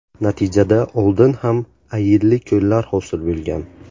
Natijada oldin ham ayilli ko‘llar hosil bo‘lgan.